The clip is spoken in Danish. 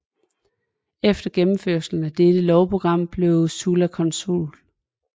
Efter gennemførelsen af dette lovprogram blev Sulla consul